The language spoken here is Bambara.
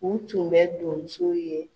U tun bɛ donso ye.